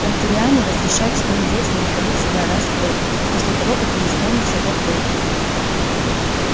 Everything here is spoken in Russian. транториане разрешают своим детям выходить сюда раз в год после того как им исполнится пять лет